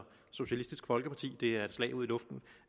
socialistisk folkeparti er et slag i luften